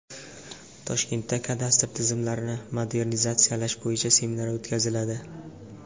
Toshkentda kadastr tizimlarini modernizatsiyalash bo‘yicha seminar o‘tkaziladi.